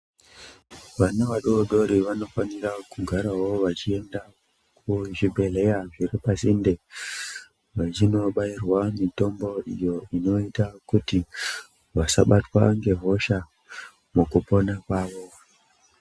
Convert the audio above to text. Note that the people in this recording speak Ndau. Vana vadoodori vanofanira kugaraeo vachienda kuzvibhedhlera zviripasinde vachinobairwa mitombo iyo inoita kuti vasabatwe ngehosha mukupona kwavo.